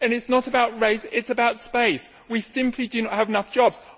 It is not about race, it is about space we simply do not have enough jobs.